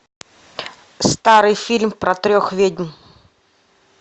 старый фильм про трех ведьм